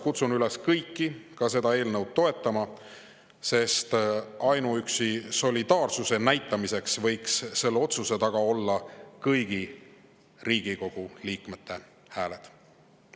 Kutsun teid kõiki üles seda eelnõu toetama, sest ainuüksi solidaarsuse näitamiseks võiks selle otsuse taga olla kõigi Riigikogu liikmete hääled.